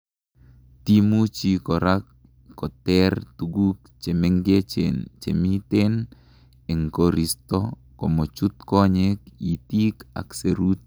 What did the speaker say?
timuchi korak koter tuguk chemengechen chemiten en koristo komochut konyek, itik ak serut